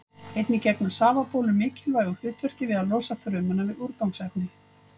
Einnig gegna safabólur mikilvægu hlutverki við að losa frumuna við úrgangsefni.